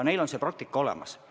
Neil on see praktika olemas.